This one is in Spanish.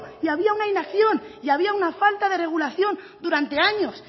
y había una inacción y había una falta de regulación durante años